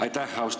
Aitäh!